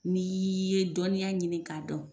N'iiiii ye dɔnniiya ɲinin ka dɔn.